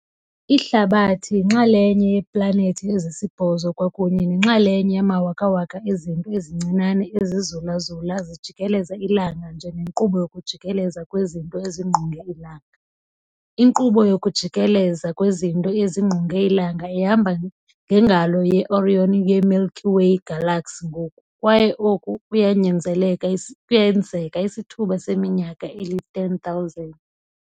Ihlabathi yinxalenye yeeplanethi ezisibhozo kwakunye nenxalenye yamawakawaka ezinto ezincinane ezizulazula zijikeleza ilanga njengenkqubo yokujikeleza kwezinto ezingqonge ilanga. Inkqubo yokujikeleza kwezinto ezingqonge ilanga ihamba ngeNgalo yeOrion yeMilky Way Galaxy ngoku, kwaye oku kuyakwenzeka isithuba seminyaka eli-10,000.